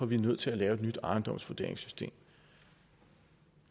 vi er nødt til at lave et nyt ejendomsvurderingssystem